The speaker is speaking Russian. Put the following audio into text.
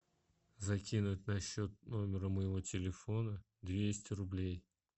закинуть на счет номера моего телефона двести рублей